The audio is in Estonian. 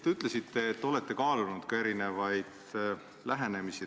Te ütlesite, et olete kaalunud erinevaid lähenemisi.